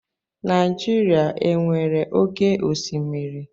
Naịjirịa e nwere oké osimiri?